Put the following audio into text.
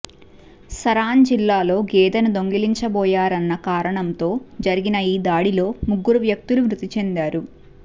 సరాన్ జిల్లాలో గేదెను దొంగిలించబోయారన్న కారణంతో జరిగిన ఈ దాడిలో ముగ్గురు వ్యక్తులు మృతిచెందారు